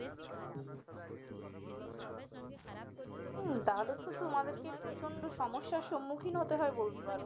উম তাহলে তো তোমাদেরকে প্রচন্ড সমস্যার সম্মুখীন হতে হয় বলতে পারো